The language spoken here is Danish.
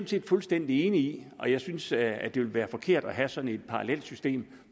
set fuldstændig enig i og jeg synes at det ville være forkert at have sådan et parallelt system